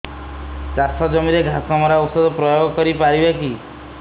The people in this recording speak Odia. ଚାଷ ଜମିରେ ଘାସ ମରା ଔଷଧ ପ୍ରୟୋଗ କରି ପାରିବା କି